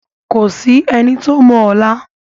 Kò sí ẹni tó mọ ọ̀la.